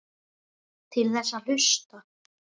Til þess að hlusta.